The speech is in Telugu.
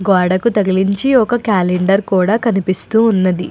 గోడకు తగిలించి ఒక క్యాలెండర్ కూడా కనిపిస్తూ ఉంది.